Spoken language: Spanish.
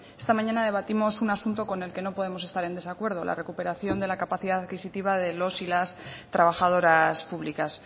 esta mañana debatimos un asunto con el que no podemos estar en desacuerdo la recuperación de la capacidad adquisitiva de los y las trabajadoras públicas